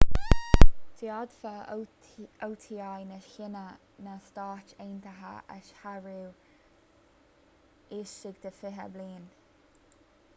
d'fhéadfadh oti na síne na stáit aontaithe a shárú laistigh de fiche bliain